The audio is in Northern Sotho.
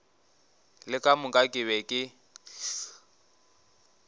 le ka moka ke be